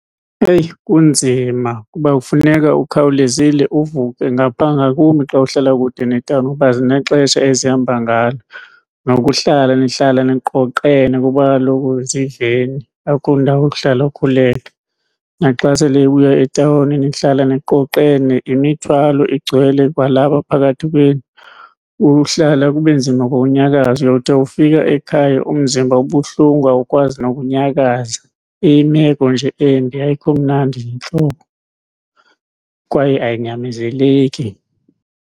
Eyi, kunzima kuba kufuneka ukhawulezile uvuke ngapha ngakumbi xa uhlala kude netawuni kuba zinexesha ezihamba ngalo. Nokuhlala nihlala niqoqene kuba kaloku ziiveni, akho ndawo yokuhlala ukhululeke. Naxa sele ibuya etawuni nihlala niqoqene, yimithwalo igcwele kwalapha phakathi kwenu, uhlala kube nzima kwaunyakaza. Uyawuthi ufika ekhaya umzimba ubuhlungu awukwazi nokunyakaza, iyimeko nje embi ayikho mnandi, yintlungu kwaye ayinyamezeleki.